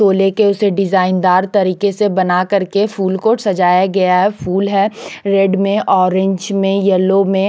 तो केले उसे डिजाईन दार तरीके से बना कर के फुल को सजाया गया फुल है रेड में ओरेंज में येलो में--